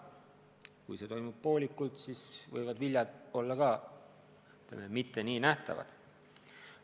Kui rahastamine toimub poolikult, siis võivad viljad olla mitte nii nähtavad.